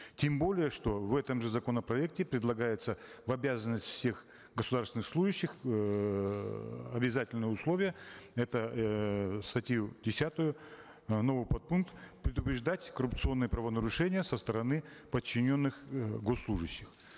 тем более что в этом же законопроекте предлагается в обязанности всех государственных служащих эээ обязательное условие это эээ статью десятую э новый подпункт предупреждать коррупционные правонарушения со стороны подчиненных э госслужащих